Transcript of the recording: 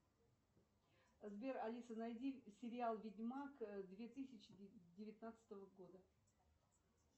сбер алиса найди сериал ведьмак две тысячи девятнадцатого года